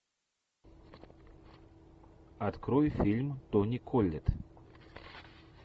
открой фильм тони коллетт